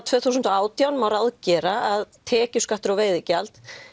tvö þúsund og átján megi gera að tekjuskattur og veiðigjald